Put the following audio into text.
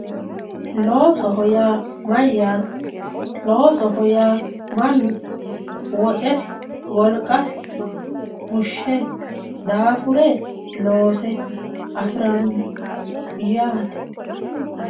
Loosoho yaa mayate, loosoho yaa manu woxxessi woliqasi fushe daafure loose afirano yaate.